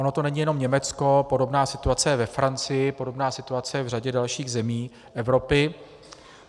Ono to není jenom Německo, podobná situace je ve Francii, podobná situace je v řadě dalších zemí Evropy.